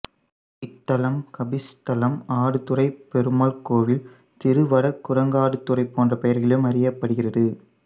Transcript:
இத்தலம் கபிஸ்தலம் ஆடுதுறைப்பெருமாள் கோவில் திருவடகுரங்காடுதுறை போன்ற பெயர்களிலும் அறியப்படுகிறது